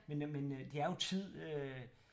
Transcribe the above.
Men øh men øh det er jo tid øh